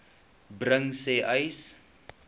bring sê uys